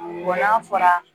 Wa n'a fɔra